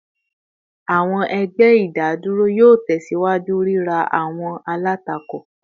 Awọn ẹgbẹ idaduro yoo tẹsiwaju rira awọn alatako